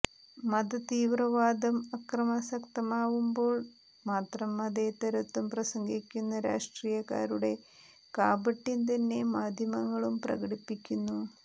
മതതീവ്രവാദം അക്രമാസക്തമാകുമ്പോൾ മാത്രം മതേതരത്വം പ്രസംഗിക്കുന്ന രാഷ്ട്രീയക്കാരുടെ കാപട്യം തന്നെ മാധ്യമങ്ങളും പ്രകടിപ്പിക്കുന്നു